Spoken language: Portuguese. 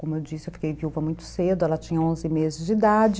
Como eu disse, eu fiquei viúva muito cedo, ela tinha onze meses de idade.